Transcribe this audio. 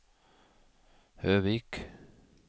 Høvik